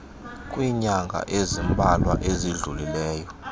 kwiinyanga ezimbalwa ezidlulileyo